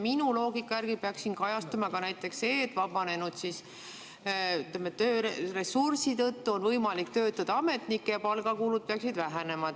Minu loogika järgi peaks siin kajastuma ka näiteks see, et tõttu on võimalik ametnikke ja ka palgakulud peaksid vähenema.